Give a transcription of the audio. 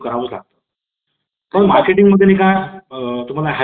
Marketing मध्ये आहेत वर काय अ तुम्हाला